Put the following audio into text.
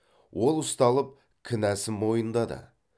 ол ұсталып кінәсін мойындады